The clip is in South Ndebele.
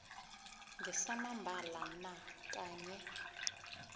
ngesamambala na kanye